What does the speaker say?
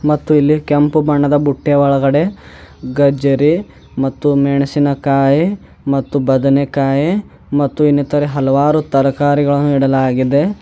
ಮತ್ತು ಇಲ್ಲಿ ಕೆಂಪು ಬಣ್ಣದ ಬುಟ್ಟೆ ಒಳಗಡೆ ಗಜ್ಜರಿ ಮತ್ತು ಮೆಣಸಿನ ಕಾಯಿ ಮತ್ತು ಬದನೆಯ ಕಾಯಿ ಮತ್ತು ಇನ್ನಿತರ ಹಲವಾರು ತರಕಾರಿಗಳನ್ನು ಇಡಲಾಗಿದೆ.